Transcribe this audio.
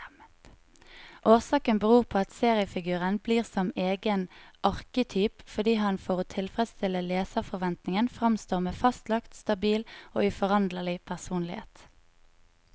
Årsaken beror på at seriefiguren blir som egen arketyp, fordi han for å tilfredstille leserforventningen framstår med fastlagt, stabil og uforanderlig personlighet.